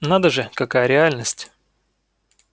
надо же какая реальность